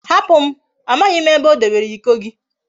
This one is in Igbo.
Hapum! Amaghim ebe odebere Iko gi